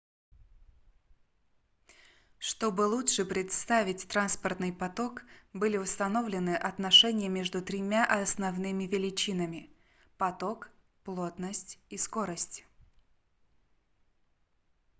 чтобы лучше представить транспортный поток были установлены отношения между тремя основными величинами: 1 поток 2 плотность и 3 скорость